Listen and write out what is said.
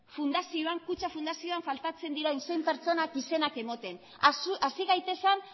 kutxa fundazioan faltatzen diren zein pertsonak izenak ematen hasi gaitezen